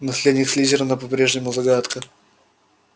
наследник слизерина по-прежнему загадка